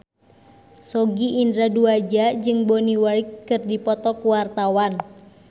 Sogi Indra Duaja jeung Bonnie Wright keur dipoto ku wartawan